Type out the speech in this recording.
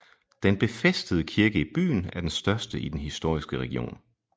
Den befæstede kirke i byen er den største i den historiske region